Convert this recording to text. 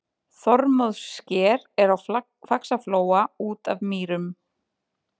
Þormóðssker er á Faxaflóa út af Mýrum.